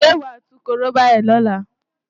Ṣé wàá tú korobá yẹn lọ́la?